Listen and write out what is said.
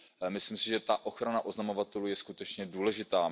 Myslím si, že ta ochrana oznamovatelů je skutečně důležitá.